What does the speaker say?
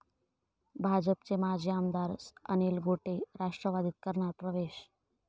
भाजपचे माजी आमदार अनिल गोटे राष्ट्रवादीत करणार प्रवेश